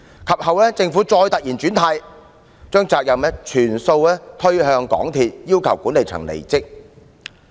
及後，政府再突然"轉軚"，把責任全部推向港鐵公司，要求管理層離職。